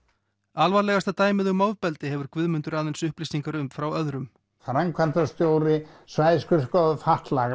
alvarlegasta dæmið um ofbeldi hefur Guðmundur aðeins upplýsingar um frá öðrum framkvæmdastjóri svæðisskrifstofu fatlaðra